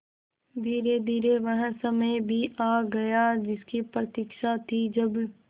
धीरेधीरे वह समय भी आ गया जिसकी प्रतिक्षा थी जब